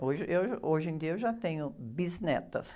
Hoje eu, hoje em dia eu já tenho bisnetas.